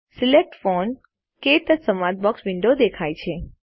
select font - ક્ટચ સંવાદ box window દેખાય છે